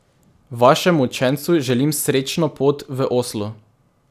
Vašemu učencu želim srečno pot v Oslo.